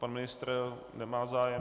Pan ministr - nemá zájem?